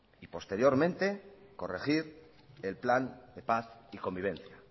posteriormente corregir el plan de paz y convivencia